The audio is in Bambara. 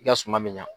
I ka suma bɛ ɲa